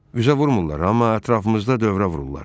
Üzə vurmurlar, amma ətrafımızda dövrə vururlar.